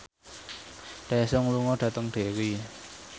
Daesung lunga dhateng Derry